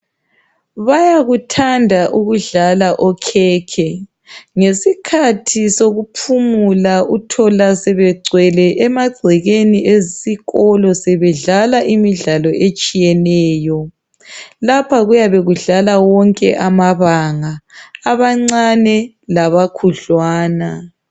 Bayakuthanda ukudlala okhekhe. Ngesikhathi sokuphumula uthola sebegcwele emagcekeni esikolo sebedlala imidlalo etshiyeneyo. Lapha kuyabe kudlala wonke amabanga, abancane labakhudlwana.